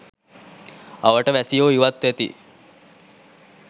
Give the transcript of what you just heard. අවට වැසියෝ ඉවත් වෙති